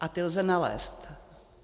A ty lze nalézt.